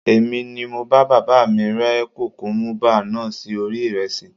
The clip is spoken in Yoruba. Èmi ni mo bá bàbá mi rẹ́ kùkúmúbá náà sí orí ìrẹsì